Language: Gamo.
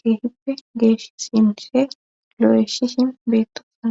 keehippe geesh sinishe lo7eshihin beettosona